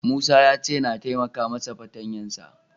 Musa ya ce na taimaka masa fartanya ta.